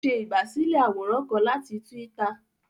O ṣe igbasilẹ àwòrán kán láti twitter